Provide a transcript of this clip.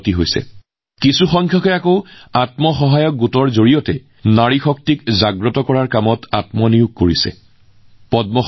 বহুতে মানুহক আত্ম সহায়ক গোট বিশেষকৈ নাৰী শক্তি অভিযানৰ সৈতে সংযোগ কৰাত ব্যস্ত